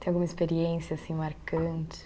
Tem alguma experiência assim marcante?